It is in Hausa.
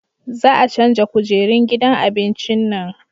Za a canja kujerun gidan abincin nan